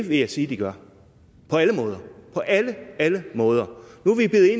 vil jeg sige de gør på alle måder på alle alle måder nu